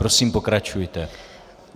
Prosím pokračujte.